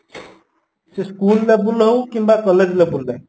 ସେ school ଲେବେଲ ହଉ କିମ୍ବା college level ପାଇଁ